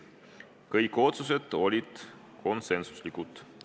Kõik otsused olid konsensuslikud.